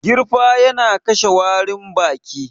Girfa yana kashe warin baki